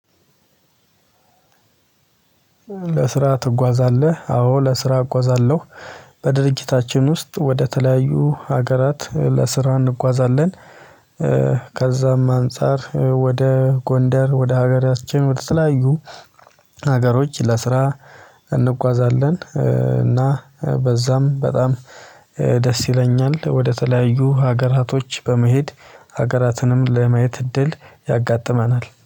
"ለስራ ትጓዛለህ?" አዎ፤ ለስራ እጓዛለሁ። በድርጅታችን ውስጥ ወደተለያዩ ሀገራት ለስራ እንጓዛለን። ከዛም አንፃር ወደ ጎንደር ወደ ሀገራችን ወደተለያዩ ሀገሮች ለስራ እንጓዛለን። እና በዛም በጣም ደስ ይለኛል። ወደተለያዩ ሀገራቶች በመሄድ ሀገራትንም ለማየት እድል ያጋጥመናል።